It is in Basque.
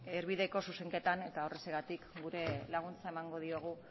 erdibideko zuzenketak eta horrexegatik gure laguntza emango diogu